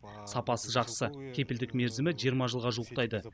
сапасы жақсы кепілдік мерзімі жиырма жылға жуықтайды